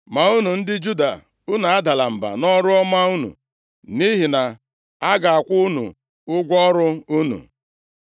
Ma unu ndị Juda, unu adala mba nʼọrụ ọma unu, nʼihi na a ga-akwụ unu ụgwọ ọrụ unu.”